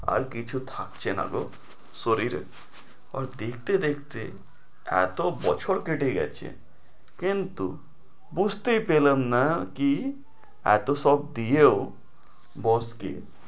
আর কিছু থাকছে নাগো শরীরে আর দেখতে দেখতে এতো বছর কেটে গেছে কিন্তু বুঝতেই পেলাম না কি এতো সব দিয়েও boss কে